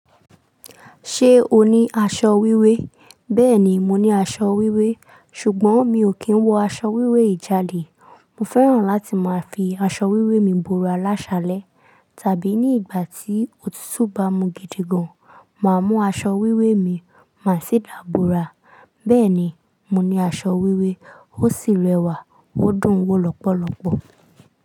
Ṣé o ní aṣọ wíwé? Bẹ́ẹ̀ni, mo ní aṣọ wíwé, ṣùgbọ́n mi ò kí ń wọ aṣọ wíwé yi jàdè. Mo fẹ́ràn láti máa fi aṣọ wíwé mi bòòrá láṣalẹ̀, tàbí ní ìgbà tí òtútù bá mu gidi gan, màá mú aṣọ wíwé mi máa ṣì dàbòrá. Bẹ́ẹ̀ni, mo ní aṣọ wíwé, ó sì rẹwà, ó dùn ún wọ lọ́pọ̀lọ́pọ̀.